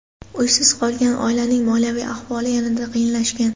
Uysiz qolgan oilaning moliyaviy ahvoli yanada qiyinlashgan.